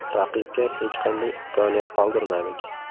Raqibga hech qanday imkoniyat qoldirmadik.